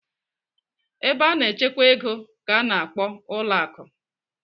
Ebe a na-echekwa ego ka a na-akpọ ụlọ akụ.